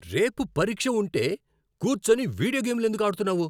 రేపు పరీక్ష ఉంటే కూర్చొని వీడియో గేమ్లు ఎందుకు ఆడుతున్నావు?